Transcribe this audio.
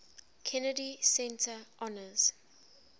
kennedy center honors